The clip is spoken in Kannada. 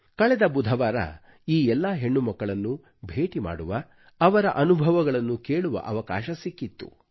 ಕಳೆದ ಬುಧವಾರ ಈ ಎಲ್ಲಾ ಹೆಣ್ಣುಮಕ್ಕಳನ್ನು ಭೇಟಿ ಮಾಡುವ ಅವರ ಅನುಭವಗಳನ್ನು ಕೇಳುವ ಅವಕಾಶ ಸಿಕ್ಕಿತ್ತು